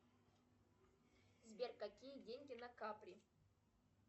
сбер какие деньги на капри